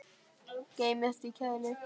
Geymist í kæli.